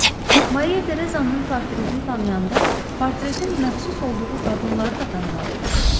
Maria Tereza'nın portretini tanıyanda, portretin məxsus olduğu qadınları da tanımalı idiniz.